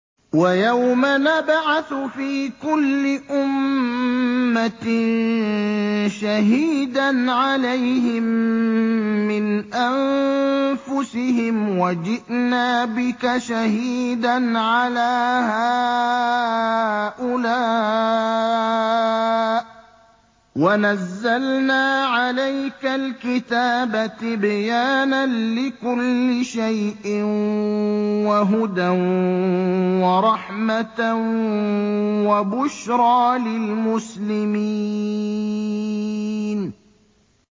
وَيَوْمَ نَبْعَثُ فِي كُلِّ أُمَّةٍ شَهِيدًا عَلَيْهِم مِّنْ أَنفُسِهِمْ ۖ وَجِئْنَا بِكَ شَهِيدًا عَلَىٰ هَٰؤُلَاءِ ۚ وَنَزَّلْنَا عَلَيْكَ الْكِتَابَ تِبْيَانًا لِّكُلِّ شَيْءٍ وَهُدًى وَرَحْمَةً وَبُشْرَىٰ لِلْمُسْلِمِينَ